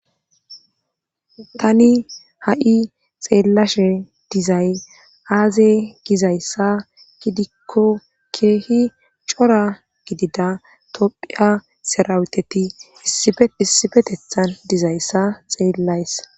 Tani ha7i xeellashe dizay aaze gizayssa ki dikko keehi cora gidida tophiya serawuteti issifetethan dizayssa xeellays